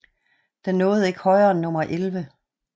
Den nåede ikke højere end nummer 11